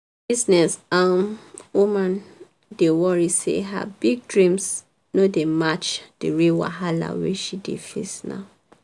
business um woman dey worry say her big dreams no dey match the real wahala wey she dey face now.